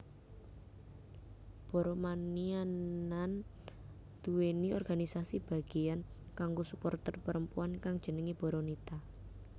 Boromaniaanduwèni organisasi bagiyan kanggo suporter perempuan kang jenenge Boronita